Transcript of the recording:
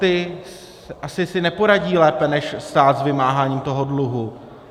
Ti asi si neporadí lépe než stát s vymáháním toho dluhu.